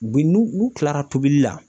U bi n'u u kilara tobili la